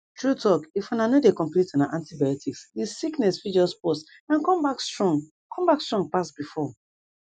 true talkif una no dey complete una antibioticsthe sickness fit just pause and come back strong come back strong pass before